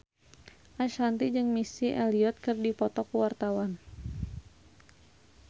Ashanti jeung Missy Elliott keur dipoto ku wartawan